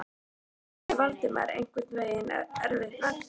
Því átti Valdimar einhvern veginn erfitt með að trúa.